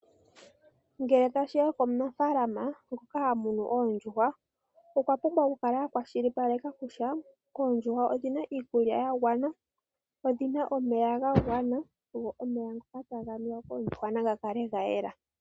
Ngele tashiya komunafaalama ngoka ha munu oondjuhwa okwa pumbwa okukala a kwashilipaleka kutya oondjuhwa odhina iikulya ya gwana, odhina omeya ga gwana go omeya ngoka taga nuwa koondjuhwa nga kale ga yela.